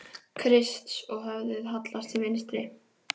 Krists, og höfuðið hallast til vinstri.